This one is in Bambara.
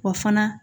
Wa fana